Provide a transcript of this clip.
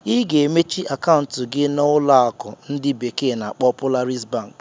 Ị ga-emechi akaụntụ gị na na ụlọ akụ ndi bekee na-akpo Polaris bank.